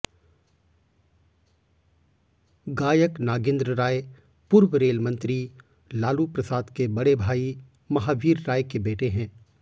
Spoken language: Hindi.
गायक नागेंद्र राय पूर्व रेलमंत्री लालू प्रसाद के बड़े भाई महावीर राय के बेटे हैं